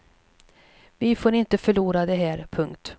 Vi får inte förlora det här. punkt